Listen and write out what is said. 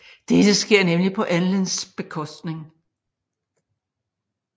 Dette sker nemlig på Enlils bekostning